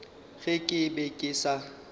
ge ke be ke sa